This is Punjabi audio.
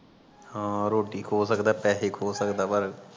ਹਾਂ ਰੋਟੀ ਖੋ ਸਕਦਾ ਪੈਸੇ ਖੋ ਸਕਦਾ ਪਰ